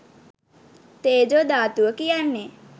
තේජෝ ධාතුව කියන්නේ